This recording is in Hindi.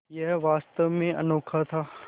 यह वास्तव में अनोखा था